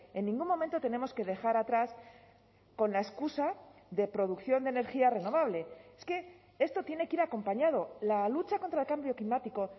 en ningún momento tenemos que dejar atrás con la excusa de producción de energía renovable es que esto tiene que ir acompañado la lucha contra el cambio climático